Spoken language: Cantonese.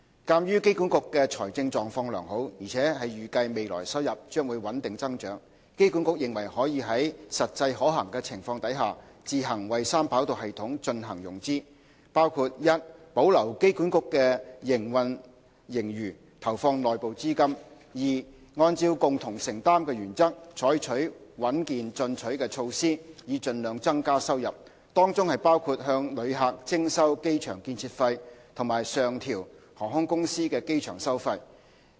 鑒於機管局的財政狀況良好，而且預計未來收入將會穩定增長，機管局認為可在實際可行的情況下，自行為三跑道系統進行融資，包括： 1保留機管局的營運盈餘，投放內部資金； 2按照"共同承擔"的原則，採取穩健進取的措施以盡量增加收入，當中包括向旅客徵收機場建設費及上調航空公司的機場收費。